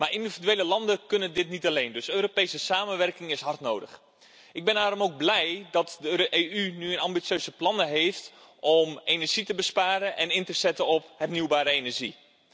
Maar individuele landen kunnen dit niet alleen, dus Europese samenwerking is hard nodig. Ik ben daarom ook blij dat de EU nu ambitieuze plannen heeft om energie te besparen en in te zetten op hernieuwbare energie.